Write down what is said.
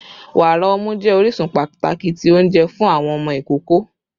Wara ọmu jẹ orisun pataki ti ounjẹ fun awọn ọmọ ikoko